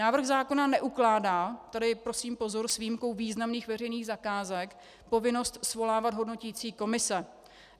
Návrh zákona neukládá - tady prosím pozor, s výjimkou významných veřejných zakázek - povinnost svolávat hodnoticí komise.